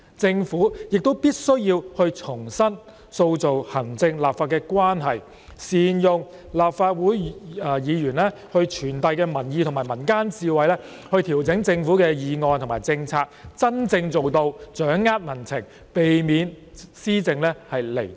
政府必須重新塑造行政立法關係，善用立法會議員傳遞的民意及民間智慧來調整政府的議案和政策，以真正掌握民情，避免施政"離地"。